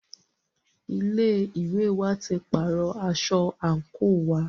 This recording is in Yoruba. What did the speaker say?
Ilé ìwé wa tí pàárọ̀ aṣọ àńkò wa.